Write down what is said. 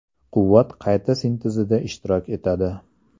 Quvvat qayta sintezida ishtirok etadi.